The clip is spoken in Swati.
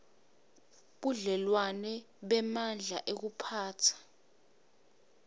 budlelwano bemandla ekuphatsa